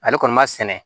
Ale kɔni b'a sɛnɛ